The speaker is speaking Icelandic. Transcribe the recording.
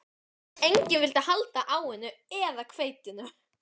Enginn vildi halda á henni eða hveitinu.